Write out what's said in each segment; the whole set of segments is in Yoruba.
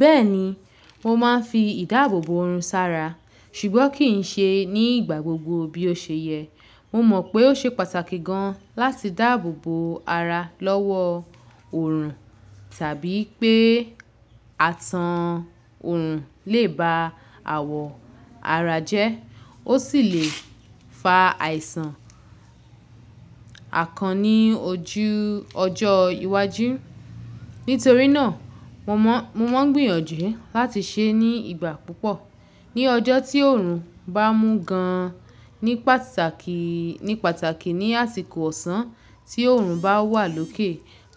Bẹ́ẹ̀ni, mo máa ń fi ìdáàbòbo òòrùn sara, ṣùgbọ́n kì í ṣe ní ìgbà gbogbo bí ó ṣe yẹ. Mo mọ̀ pé ó ṣe pàtàkì gan-an láti dáà bòobo ara lọ́wọ́ òòrùn tàbí pé atán òòrùn lè ba àwọ̀ ara jẹ́. Ó sì le fa àìsàn àkàn ní ojú ọjọ́ iwájú. Nítorí náà, mo mọ́, mo mo ń gbìyànjú láti ṣe é ní ìgbà púpọ̀. Ni ọjọ́ tí òòrùn bá mú gan-an ní pàtàkì, ní pàtàkì ní àsìkò ọ̀sán tí òòrùn bá wà lókè,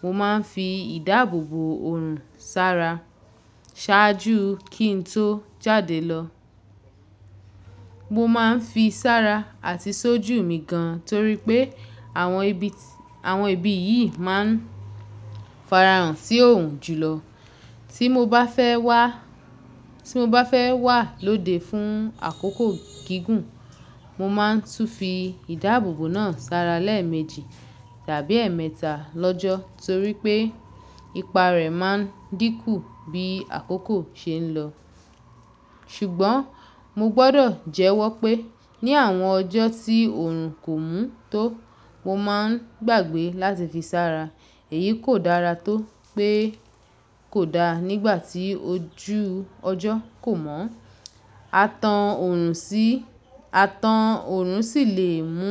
mo máa ń fi ìdáàbòbo òòrùn sara ṣáájú kí n tó jáde lọ. Mo máa ń fi sára àti sójú mi gan-an torí pé àwọn ibi, àwọn ibi yìí máa ń farahàn sí òòrùn jùlọ. Tí mo bá fẹ́ wá, tí mo bá fẹ́ wà lóde fún àkókò gígùn, mo máa ń tú fi ìdá àbòbò náà sara lẹ́ẹ̀méjì tàbí ẹ́ẹ̀mẹ́ta lọ́jọ́ torí pé ipa rẹ̀ máa ń dínkù bí àkókò ṣe ń lọ. Ṣùgbọ́n mo gbọ́dọ̀ jẹ́wọ́ pé ní àwọn ọjọ́ tí òòrùn kò mú tó, mo máa ń gbàgbé láti fi sára. Èyí kò dára tó pé kò da nígbà tí ojú ọjọ́ kò mọ́. Atán òòrùn sì, atán òòrùn sì lè mú,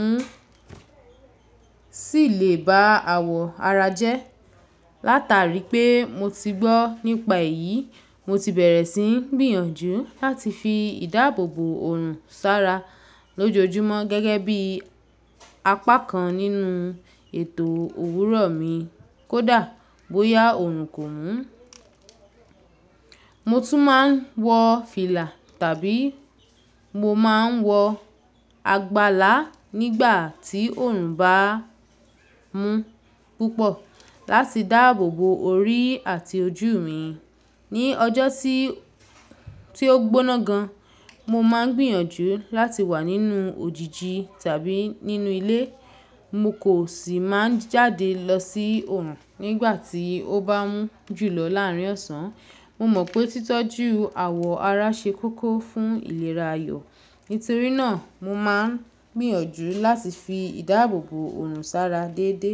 sì lè ba àwọ̀ ara jẹ́. Látàrí pé mo ti gbọ́ nípa èyí, mo ti bẹ̀rẹ̀ sí ń gbìyànjú láti fi ìdá àbòbò òòrùn sara lójoojúmọ́ gẹ́gẹ́ bí apá kan nínú ètò òwúrọ̀ mi. Kódà bóyá òòrùn kò mú, mo tún máa ń wọ fìlà tàbí mo máa ń wọ àgbàlá nígbà tí òòrùn bá mú púpọ̀ láti dá àbòbo orí àti ojú mi. Ni ọjọ́ tí, tí ó gbóná gan-an, mo máa ń gbìyànjú láti wà nínú òjìji tàbí nínú ilé. Mo kò sì máa ń jáde lọ sí òòrùn nígbà tí ó bá mú jùlọ láàárin ọ̀sán. Mo mọ̀ pé títọ́jú àwọ̀ ara ṣe kókó fún ìlera ayọ̀. Nítorí náà mo máa ń gbìyànjú láti fi ìdáàbòbò òòrùn sara déedé.